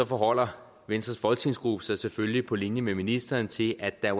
forholder venstres folketingsgruppe sig selvfølgelig på linje med ministeren til at der